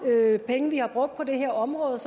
penge vi har brugt på det her område